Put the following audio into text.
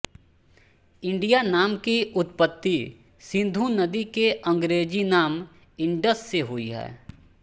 India नाम की उत्पत्ति सिन्धु नदी के अंग्रेजी नाम इंडस से हुई है